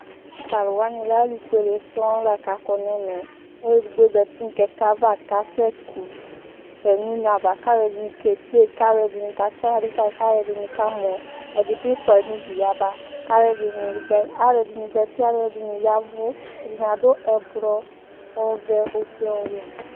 Tʋ alu wani lɛ alufuele sɔŋ lakʋ akɔ nʋ ɛmɛ Oluedigbo zǝti nʋ kɛkɛ ava kʋ asekʋ sɛ nʋ une ava kʋ alu ɛdɩnɩ kede yi, kʋ alu ɛdɩnɩ katsi aɣla du kayi, kʋ alu ɛdɩnɩ kamɔ Ɛdɩ bɩ fuayi nʋ udu yaba Alu ɛdɩnɩ zǝti, aluɛdɩnɩ ya ɛvʋ Ɛdɩnɩ adu ɛblɔ, ɔvɛ, ofue, ɔwɛ